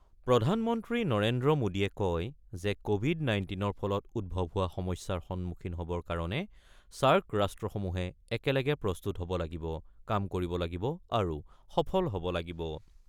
প্ৰধানমন্ত্ৰী নৰেন্দ্ৰ মোদীয়ে কয় যে, কোৱিড-নাইণ্টিনৰ ফলত উদ্ভৱ হোৱা সমস্যাৰ সন্মুখীন হ'বৰ কাৰণে ছাৰ্ক ৰাষ্ট্ৰসমূহে একেলগে প্ৰস্তুত হ'ব লাগিব, কাম কৰিব লাগিব আৰু সফল হ'ব লাগিব।